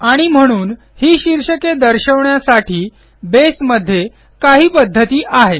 आणि म्हणून ही शीर्षके दर्शवण्यासाठी बेसमध्ये काही पध्दती आहेत